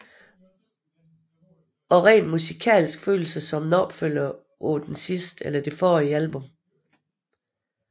Også rent musikalsk føles det som en opfølger på det forrige album